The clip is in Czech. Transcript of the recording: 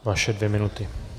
Vaše dvě minuty.